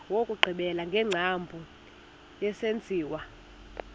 wokugqibela wengcambu yesenziwa